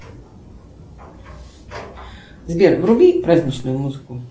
сбер вруби праздничную музыку